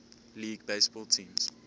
league baseball teams